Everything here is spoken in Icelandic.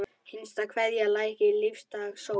HINSTA KVEÐJA Lækkar lífdaga sól.